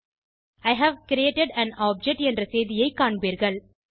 E have created an object என்ற செய்தியை காண்பீர்கள்